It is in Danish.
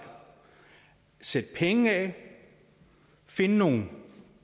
sætte penge af og finde nogle